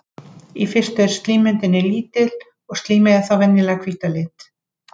Í fyrstu er slímmyndun lítil og slímið er þá venjulega hvítt að lit.